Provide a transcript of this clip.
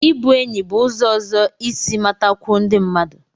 Ịbụ enyi bụ ụzọ ọzọ isi matakwuo ndị mmadụ